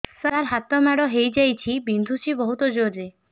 ସାର ହାତ ମାଡ଼ ହେଇଯାଇଛି ବିନ୍ଧୁଛି ବହୁତ ଜୋରରେ